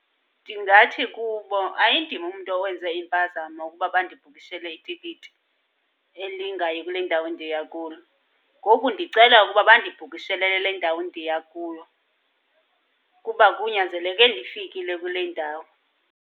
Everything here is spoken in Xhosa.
Ndingathi kubo, ayindim umntu owenze impazamo ukuba bandibhukishele itikiti elingayi kule ndawo ndiya kuyo. Ngoku ndicela ukuba bandibhukishele elale ndawo endiya kuyo, kuba kunyanzeleke ndifikile kule ndawo.